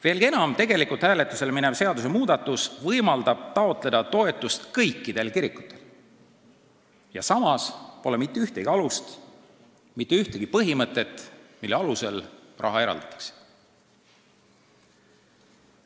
Veelgi enam, hääletusele minev seadusmuudatus võimaldab toetust taotleda kõikidel kirikutel ja samas pole kirjas mitte ühtegi alust, mitte ühtegi põhimõtet, mille alusel raha eraldatakse.